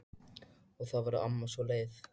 Og þá verður amma svo leið.